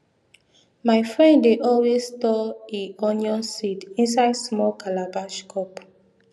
my friend dey always store e onion seed inside small calabash cup